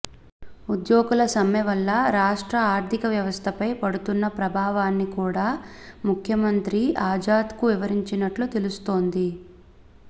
ఉద్యోగుల సమ్మె వల్ల రాష్ట్ర ఆర్థిక వ్యవస్థపై పడుతున్న ప్రభావాన్ని కూడా ముఖ్యమంత్రి ఆజాద్కు వివరించినట్లు తెలుస్తోంది